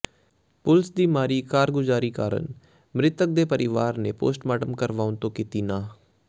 ਪੁਲਸ ਦੀ ਮਾੜੀ ਕਾਰਗੁਜ਼ਾਰੀ ਕਾਰਨ ਮਿ੍ਰਤਕ ਦੇ ਪਰਿਵਾਰ ਨੇ ਪੋਸਟਮਾਰਟਮ ਕਰਵਾਉਣ ਤੋਂ ਕੀਤੀ ਨਾਂਹ